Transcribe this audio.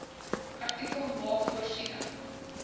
artikel maak voorsiening